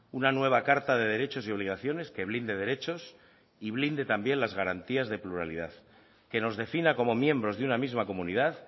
una nueva carta de derechos y obligaciones que blinde derechos y blinde también las garantías de pluralidad que nos defina como miembros de una misma comunidad